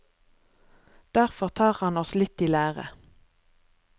Derfor tar han oss litt i lære.